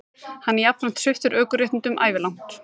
Hann er jafnframt sviptur ökuréttindum ævilangt